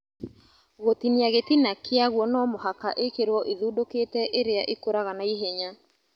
Gũtinia gĩtina kĩaguo nomũhaka ikĩrwo ĩthundũkĩte ĩrĩa ĩkũraga naihenya